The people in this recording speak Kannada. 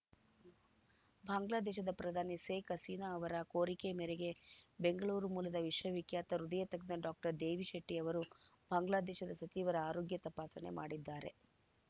ಬಾಂಗ್ಲಾದೇಶದ ಪ್ರಧಾನಿ ಸೇಖ್‌ ಹಸೀನಾ ಅವರ ಕೋರಿಕೆ ಮೇರೆಗೆ ಬೆಂಗಳೂರು ಮೂಲದ ವಿಶ್ವವಿಖ್ಯಾತ ಹೃದಯ ತಜ್ಞ ಡಾಕ್ಟರ್ ದೇವಿ ಶೆಟ್ಟಿ ಅವರು ಬಾಂಗ್ಲಾದೇಶದ ಸಚಿವರ ಆರೋಗ್ಯ ತಪಾಸಣೆ ಮಾಡಿದ್ದಾರೆ